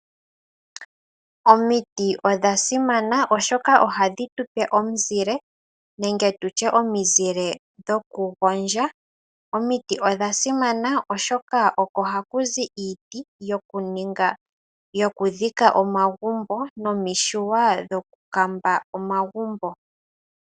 Omiti odha simana oshoka ohadhi tupe omizile nenge nditye omizile dho kugondja, omiti odha simana oshoka oko hakuzi iiti yokudhika omagumbo nomishuwa dhokukamba omagumbo.